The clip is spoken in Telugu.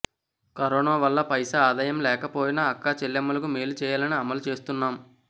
కరోనా వల్ల పైసా ఆదాయం రాకపోయినా అక్క చెల్లెమ్మలకు మేలు చేయాలని అమలు చేస్తున్నాం